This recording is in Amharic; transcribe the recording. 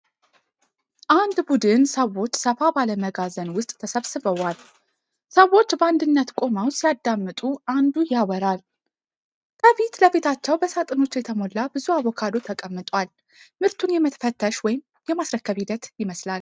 አንድ ቡድን ሰዎች ሰፋ ባለ መጋዘን ውስጥ ተሰብስበዋል። ሰዎች በአንድነት ቆመው ሲያዳምጡ አንዱ ያወራል። ከፊት ለፊታቸው በሳጥኖች የተሞላ ብዙ አቮካዶ ተቀምጧል። ምርትን የመፈተሽ ወይም የማስረከብ ሂደት ይመስላል።